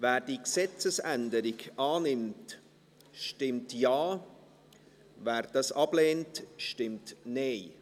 Wer diese Gesetzesänderung annimmt, stimmt Ja, wer diese ablehnt, stimmt Nein.